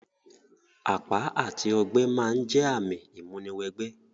Àpá àti ogbẹ́ ma n jẹ ààmì ìmúni wẹ gbẹ́